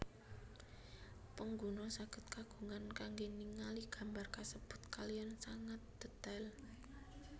Pengguna sagèd kagungan kanggè ningali gambar kasèbut kaliyan sangat dètail